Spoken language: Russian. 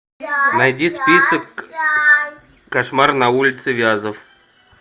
найди список кошмар на улице вязов